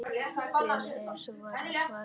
Bréfi ESA var ekki svarað.